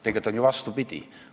Tegelikult oli ju vastupidi.